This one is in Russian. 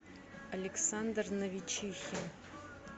александр новичихин